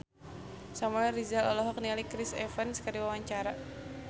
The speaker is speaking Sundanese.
Samuel Rizal olohok ningali Chris Evans keur diwawancara